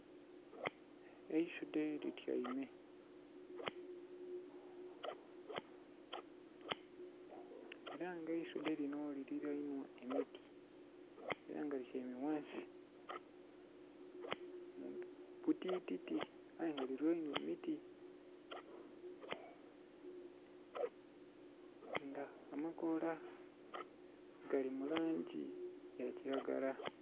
Eisudhe lityeime era nga eisudhe lino lili lanhwa emiti era nga lityeime ghansi kubutiti aye nga bulilanhwa emiti nga amakola agali mu langi yakilagala.